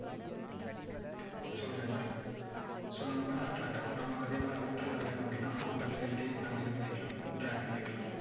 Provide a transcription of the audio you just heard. so இந்த மாதிரி so நமக்கு வந்து attract ஆகும் நமக்கு அதே மாதிரி outer ல வேணும் அப்படின்னா outer ல இப்படி நம்ம இது பன்ணிக்கலாம் drag பண்ணிக்கலாம்